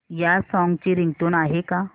या सॉन्ग ची रिंगटोन आहे का